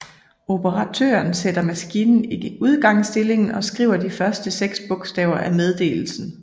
Operatøren sætter maskinen i udgangsindstillingen og skriver de første seks bogstaver af meddelelsen